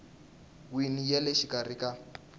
wini ya le xikarhi ka